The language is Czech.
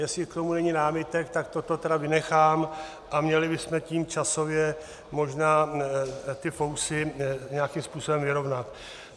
Jestli k tomu není námitek, tak toto tedy vynechám a měli bychom tím časově možná ty fousy nějakým způsobem vyrovnat.